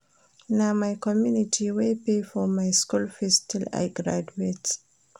Na my community wey pay for my school fees till I graduate